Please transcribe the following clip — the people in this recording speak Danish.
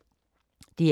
DR K